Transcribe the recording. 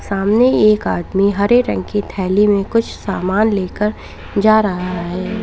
सामने एक आदमी हरे रंग की थैली में कुछ सामान लेकर जा रहा है।